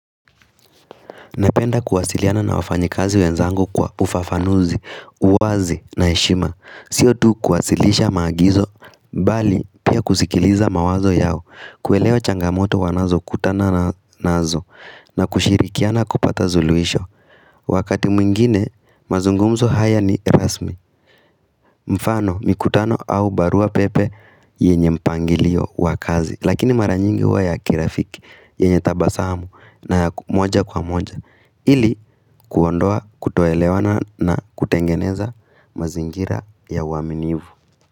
Napenda kuwasiliana na wafanyi kazi wenzangu kwa ufafanuzi, uwazi na shima Sio tu kuwasilisha magizo, bali pia kusikiliza mawazo yao Kueleo changamoto wanazo kutana naazo na kushirikiana kupata zuluisho Wakati mwingine, mazungumzo haya ni rasmi mfano mikutano au barua pepe yenye mpangilio wakazi Lakini maranyingi wa ya kirafiki yenye tabasamu na ya moja kwa moja Ili kuondoa kutoelewana na kutengeneza mazingira ya waminivu.